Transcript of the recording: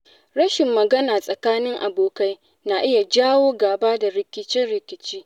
Rashin magana tsakanin abokai na iya jawo gaba da rikice-rikice.